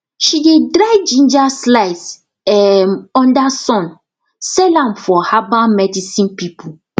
she dey dry ginger slice um under sun sell am for herbal medicine people